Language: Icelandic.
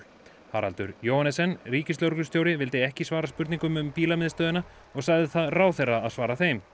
Haraldur Johannessen ríkislögreglustjóri vildi ekki svara spurningum um og sagði það ráðherra að svara þeim